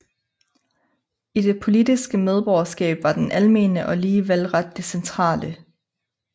I det politiske medborgerskab var den almene og lige valgret det centrale